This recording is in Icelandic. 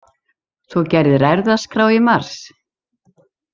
Þú gerðir erfðaskrá í mars?